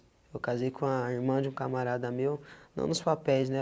Eu casei com a irmã de um camarada meu, não nos papéis, né?